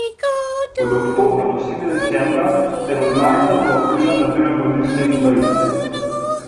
Od oktobra do srede decembra ter od marca do aprila nabiramo liste in vejice.